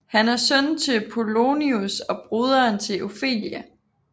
Han er søn til Polonius og broderen til Ofelia